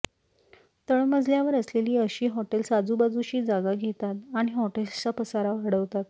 तळमजल्यावर असलेली अशी हॉटेल्स आजूबाजूची जागा घेतात आणि हॉटेल्सचा पसारा वाढवतात